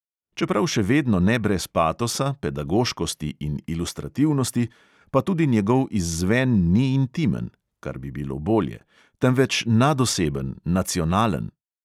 Čeprav še vedno ne brez patosa, pedagoškosti in ilustrativnosti, pa tudi njegov izzven ni intimen (kar bi bilo bolje), temveč nadoseben, nacionalen.